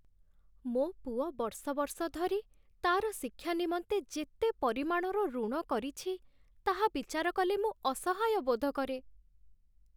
ମୋ ପୁଅ ବର୍ଷ ବର୍ଷ ଧରି ତା'ର ଶିକ୍ଷା ନିମନ୍ତେ ଯେତେ ପରିମାଣର ଋଣ କରିଛି, ତାହା ବିଚାର କଲେ ମୁଁ ଅସହାୟ ବୋଧ କରେ।